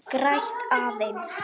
Græt aðeins.